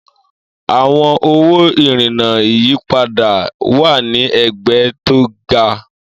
Àwọn owó ìrìnnà ìyípadà wà ní ẹ̀gbẹ́ tó ga.